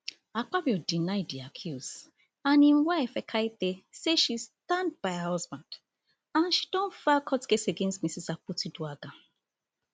akpabio deny di accuse and im wife ekaette say she stand by her husband and she don file court case against mrs akpotiuduaghan